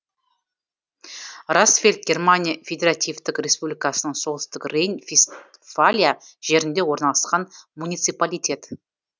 расфельд германия федеративтік республикасының солтүстік рейн вестфалия жерінде орналасқан муниципалитет